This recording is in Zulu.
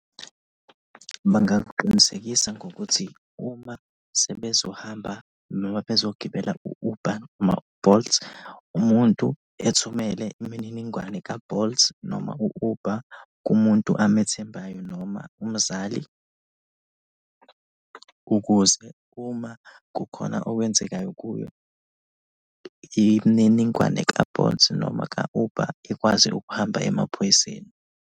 Bangakuqinisekisa ngokuthi uma sebezohamba noma bezogibela u-Uber noma u-Bolt, umuntu ethumele imininingwane ka-Bolt noma u-Uber kumuntu amethembayo noma umzali ukuze uma kukhona okwenzekayo kuye, imininingwane ka-Bolt noma ka-uber ikwazi ukuhamba emaphoyiseni.